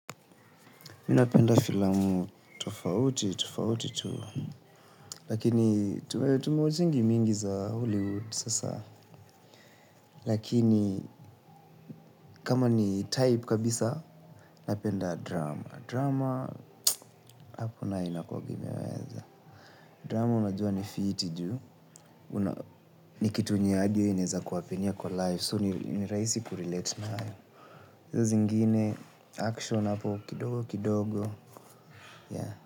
Mi napenda filamu, tofauti, tofauti, tu, lakini, tume watchingi mingi za Hollywood sasa. Lakini, kama ni type kabisa, napenda drama. Drama, hapo nayo inakuwaga imeweza. Drama, unajua ni fiti ju. Ni kitu yenye hadi we, inaeza ku-happenia kwa life, so ni rahisi kurelate nayo. Izo zingine, action hapo, kidogo kidogo, yeah.